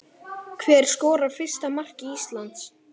Hver skorar fyrsta mark Íslands?